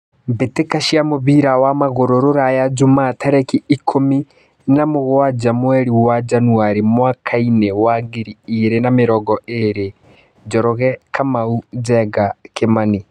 Mbĩtĩka cia mũbira wa magũrũ Ruraya Jumaa tarĩki ikũmi na mũgwanja mweri wa Njanũari mwakainĩ wa ngiri igĩrĩ na mĩrongo ĩrĩ: Njoroge, Kamau, Njenga, Kimani.